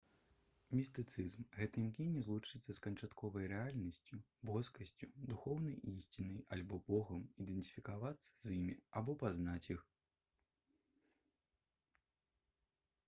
містыцызм гэта імкненне злучыцца з канчатковай рэальнасцю боскасцю духоўнай ісцінай альбо богам ідэнтыфікавацца з імі або пазнаць іх